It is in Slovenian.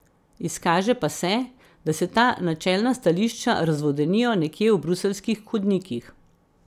Izkaže pa se, da se ta načelna stališča razvodenijo nekje v bruseljskih hodnikih.